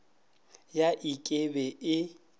ya ik e be e